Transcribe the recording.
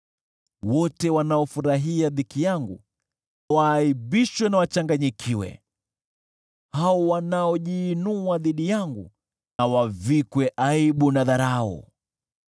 Wote wanaofurahia dhiki yangu waaibishwe na wachanganyikiwe; hao wanaojiinua dhidi yangu wavikwe aibu na dharau.